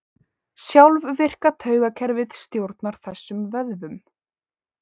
Sjálfvirka taugakerfið stjórnar þessum vöðvum.